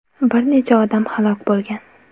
Bir necha odam halok bo‘lgan.